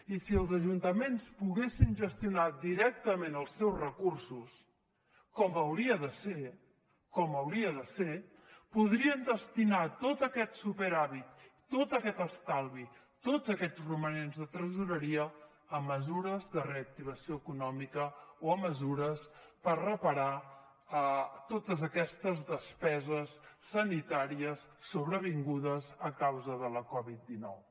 i si els ajuntaments poguessin gestionar directament els seus recursos com hauria de ser com hauria de ser podrien destinar tot aquest superàvit tot aquest estalvi tots aquests romanents de tresoreria a mesures de reactivació econòmica o a mesures per reparar totes aquestes despeses sanitàries sobrevingudes a causa de la covid dinou